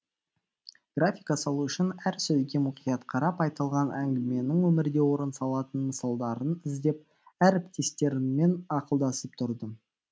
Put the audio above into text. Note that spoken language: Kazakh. графика салу үшін әр сөзге мұқият қарап айтылған әңгіменің өмірде орын алатын мысалдарын іздеп әріптестеріммен ақылдасып тұрдым